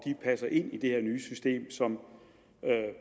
passer ind i det her nye system som